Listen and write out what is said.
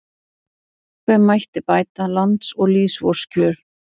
Hve mætti bæta lands og lýðs vors kjör